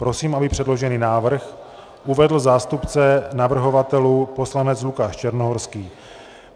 Prosím, aby předložený návrh uvedl zástupce navrhovatelů poslanec Lukáš Černohorský.